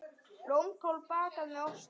Blómkál bakað með osti